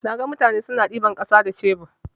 Naga mutane suna ɗiban ƙasa da shebur.